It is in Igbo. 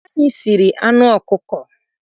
Anyị siri anụ ọkụkọ.